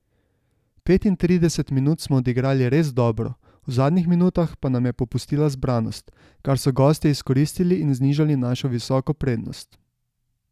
Petintrideset minut smo odigrali res dobro, v zadnjih minutah pa nam je popustila zbranost, kar so gostje izkoristili in znižali našo visoko prednost.